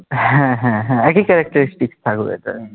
হ্যাঁ হ্যাঁ হ্যাঁ একই characteristic থাকবে এটাই